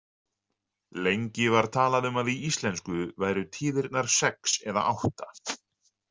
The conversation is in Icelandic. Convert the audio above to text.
Lengi var talað um að í íslensku væru tíðirnar sex eða átta.